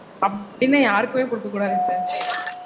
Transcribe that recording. அப்டினா யாருக்குமே குடுக்க கூடாது sir